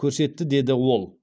көрсетті деді ол